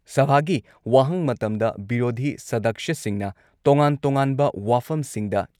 ꯁꯚꯥꯒꯤ ꯋꯥꯍꯪ ꯃꯇꯝꯗ ꯕꯤꯔꯣꯙꯤ ꯁꯗꯛꯁ꯭ꯌꯁꯤꯡꯅ ꯇꯣꯉꯥꯟ ꯇꯣꯉꯥꯟꯕ ꯋꯥꯐꯝꯁꯤꯡꯗ